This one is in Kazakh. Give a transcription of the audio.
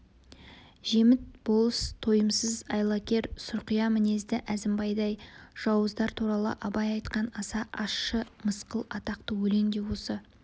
жеміт болыс тойымсыз айлакер сұрқия мінезді әзімбайдай жауыздар туралы абай айтқан аса ащы мысқыл атақты өлең де осы